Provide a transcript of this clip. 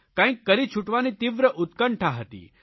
કંઇક કરી છુટવાની તીવ્ર ઉત્કંઠા હતી